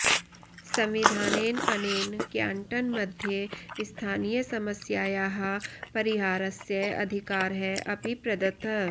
संविधानेन अनेन क्याण्टन् मध्ये स्थनीयसमस्यायाः परिहारस्य अधिकारः अपि प्रदत्तः